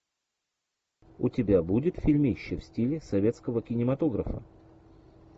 у тебя будет фильмище в стиле советского кинематографа